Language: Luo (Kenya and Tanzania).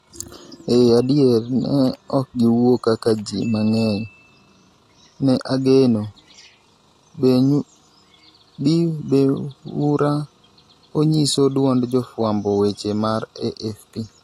Ee adier ni ne okgiwuok kaka jii mang'eny ne ogeno,"Benhura onyiso duond jofwamb weche mar AFP.